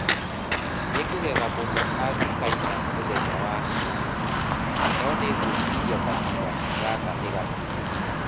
Nĩngũgega mũno angĩkaina mũthenya wa Kiumia, no nĩ ngwĩciria kahinda gaka nĩ gakinyu.